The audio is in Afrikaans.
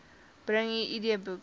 bring u idboek